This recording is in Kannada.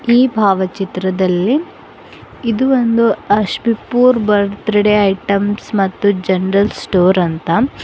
ಈ ಭಾವಚಿತ್ರದಲ್ಲಿ ಇದು ಒಂದು ಅಷ್ ಪೂರ್ ಬರ್ತ್ಡೇ ಐಟಮ್ಸ್ ಮತ್ತು ಜನರಲ್ ಸ್ಟೋರ್ ಅಂತ--